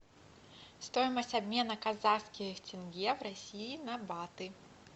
стоимость обмена казахских тенге в россии на баты